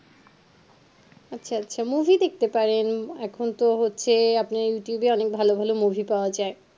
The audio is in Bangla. আচ্ছা আচ্ছা movie দেখতে পারেন এখন তো হচ্ছে আপনার youtube এ নেন ভালো ভালো movie অনেক ভালো ভালো পাওয়া যায়